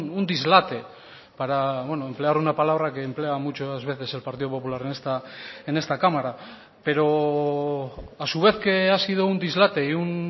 un dislate para emplear una palabra que emplea muchas veces el partido popular en esta cámara pero a su vez que ha sido un dislate y un